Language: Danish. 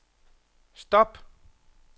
stop